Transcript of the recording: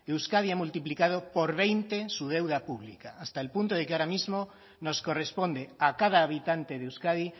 euskadi ha multiplicado por veinte su deuda pública hasta el punto de que ahora mismo nos corresponde a cada habitante de euskadi